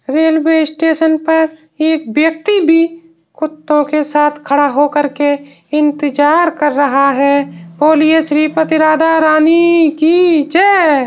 Railway station पर एक व्यक्ति भी कुत्तों के साथ खड़ा होकर के इंतजार कर रहा है। बोलिये श्रीपति राधा रानी की जय।